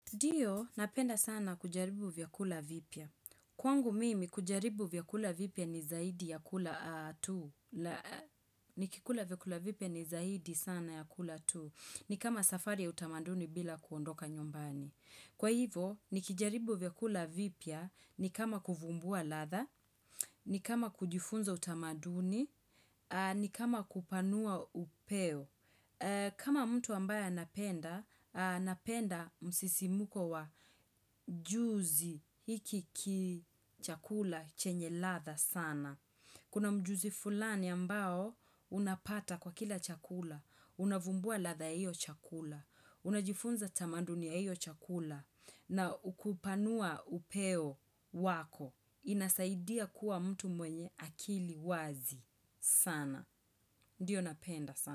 Ndio, napenda sana kujaribu vyakula vipya. Kwangu mimi, kujaribu vyakula vipya ni zaidi ya kula tu. Nikikula vyakula vipya ni zaidi sana ya kula tu. Nikama safari ya utamaduni bila kuondoka nyumbani. Kwa hivyo, nikijaribu vyakula vipya nikama kuvumbua ladha, nikama kujifunza utamaduni, nikama kupanua upeo. Kama mtu ambaye anapenda, anapenda msisimuko wa juzi hiki ki chakula chenye ladha sana. Kuna mjuzi fulani ambao unapata kwa kila chakula, unavumbua ladha hiyo chakula, unajifunza tamandunia hiyo chakula, na u kupanua upeo wako, inasaidia kuwa mtu mwenye akili wazi sana. Ndio napenda sana.